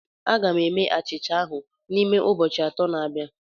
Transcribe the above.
Aga m eme achịcha ahụ n'ime ụbọchị atọ na abịa